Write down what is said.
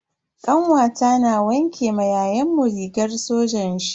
Kanwata na wanke ma yayanmu rigar sojan shi.